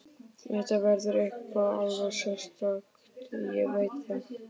Þetta verður eitthvað alveg sérstakt, ég veit það.